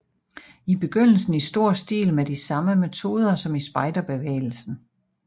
I begyndelsen i stor stil med de samme metoder som i spejderbevægelsen